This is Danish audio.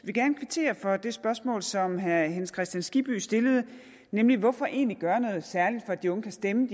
vil gerne kvittere for det spørgsmål som herre hans kristian skibby stillede nemlig hvorfor egentlig gøre noget særligt for at de unge kan stemme